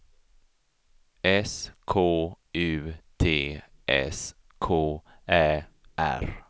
S K U T S K Ä R